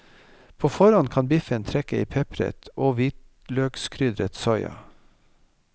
På forhånd kan biffen trekke i pepret og hvitløkskrydret soya.